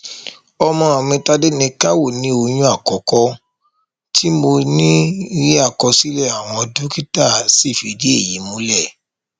ọmọ mi tádéníkàwò ni oyún àkọkọ tí mo ní rí àkọsílẹ àwọn dókítà sì fìdí èyí múlẹ